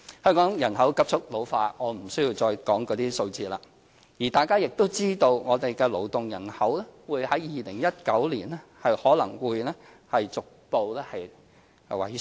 香港人口急速老化——我不需要再引述相關數字——而大家亦知道我們的勞動人口在2019年可能會逐步萎縮。